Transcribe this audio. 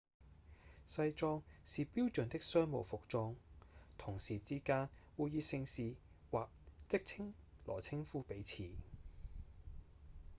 西裝是標準的商務服裝同事之間會以姓氏或職稱來稱呼彼此